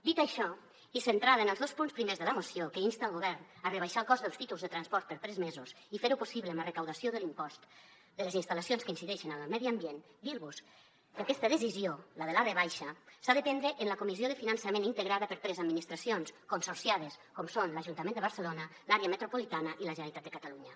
dit això i centrada en els dos punts primers de la moció que insten el govern a rebaixar el cost dels títols de transport per tres mesos i fer ho possible amb la recaptació de l’impost de les instal·lacions que incideixen en el medi ambient dir vos que aquesta decisió la de la rebaixa s’ha de prendre en la comissió de finançament integrada per tres administracions consorciades com són l’ajuntament de barcelona l’àrea metropolitana i la generalitat de catalunya